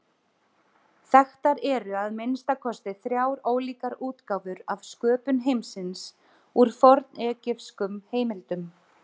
Þekktar eru að minnsta kosti þrjár ólíkar útgáfur af sköpun heimsins úr fornegypskum heimildum.